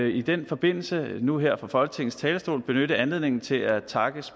i den forbindelse nu her fra folketingets talerstol benytte anledningen til at takke